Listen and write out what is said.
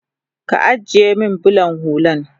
Ka ajiye min bulan hullan